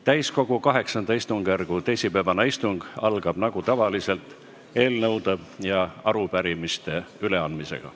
Täiskogu VIII istungjärgu teisipäevane istung algab nagu tavaliselt eelnõude ja arupärimiste üleandmisega.